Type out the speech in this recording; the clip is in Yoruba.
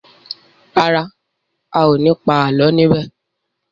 ràrá ào ní pa àlọ ní bè.